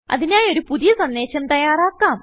അതിനായി ഒരു പുതിയ സന്ദേശം തയ്യാറാക്കാം